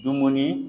Dumuni